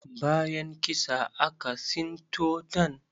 Bayan kisa, aka sinto ɗan.